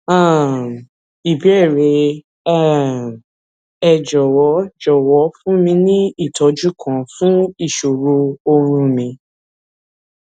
um ìbéèrè um ẹ jòwó jòwó fún mi ní ìtójú kan fún ìṣòro oorun mi